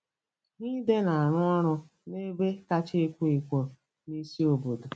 Haide na-arụ ọrụ n'ebe kacha ekwo ekwo n'isi obodo.